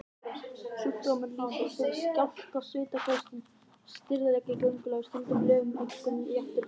Sjúkdómurinn lýsir sér í skjálfta, svitaköstum, stirðleika í göngulagi og stundum lömun, einkum í afturparti.